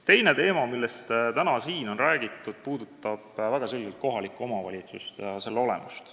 Teine teema, millest täna siin ka on räägitud, puudutab väga selgelt kohalikku omavalitsust ja selle olemust.